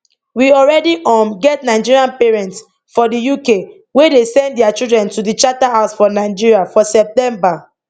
we already um get nigerian parents for di uk wey dey send dia children to di charterhouse for nigeria for september